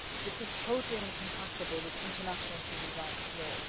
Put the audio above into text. This is totally incompatible with international human rights law.